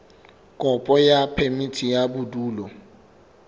kopo ya phemiti ya bodulo